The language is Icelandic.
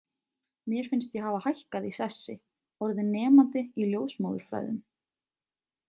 Mér finnst ég hafa hækkað í sessi, orðin nemandi í ljósmóðurfræðum.